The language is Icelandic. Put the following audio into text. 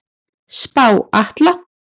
Spá Atla